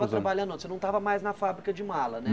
trabalhando não, você não estava mais na fábrica de mala, né?